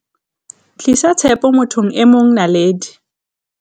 Tlisa tshepo mo thong e mongNaledi